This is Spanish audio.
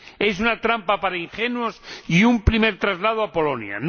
Es una trampa para ingenuos y un primer traslado a Polonia.